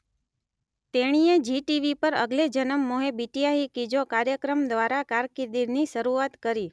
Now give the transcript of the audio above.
તેણીએ Zee TV પર અગલે જનમ મોહે બિટીયા હી કિજો કાર્યક્રમ દ્વારા કારકિર્દીની શરૂઆત કરી